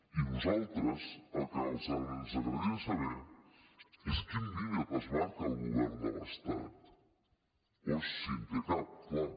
i a nosaltres el que ens agradaria saber és quin límit es marca el govern de l’estat o si en té cap clar